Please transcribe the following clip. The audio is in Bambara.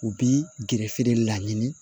U bi gerefe la ɲini